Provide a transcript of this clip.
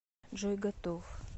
джой готов